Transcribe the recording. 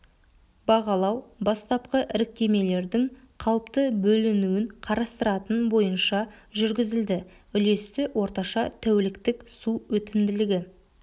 бағалау бастапқы іріктемелердің қалыпты бөлінуін қарастыратын бойынша жүргізілді үлесті орташа тәуліктік су өтімділігі